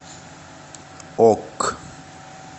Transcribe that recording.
ок